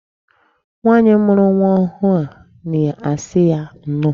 Nwaanyị mụrụ nwa ọhụụ a na-asị ya nnọọ